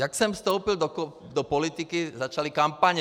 Jak jsem vstoupil do politiky, začaly kampaně.